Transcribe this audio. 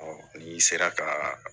ni sera ka